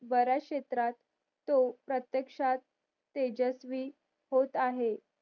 बऱ्याच क्षेत्रात तो प्रत्येकशात तो तेजस्वी होते आहे